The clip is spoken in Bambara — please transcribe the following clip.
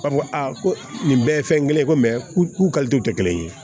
An ko a ko nin bɛɛ ye fɛn kelen ye ko k'u k'u kalito kɛ kelen ye